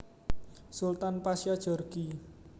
Sultan Pasya Djorghi